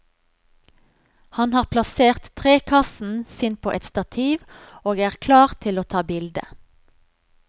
Han har plassert trekassen sin på et stativ og er klar til å ta bilde.